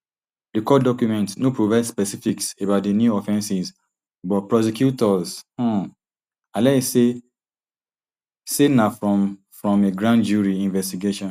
di court document no provide specifics about di new offences but prosecutors um allege say say na from from a grand jury investigation